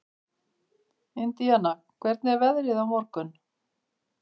Indiana, hvernig er veðrið á morgun?